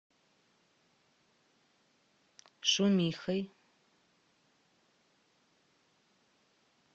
шумихой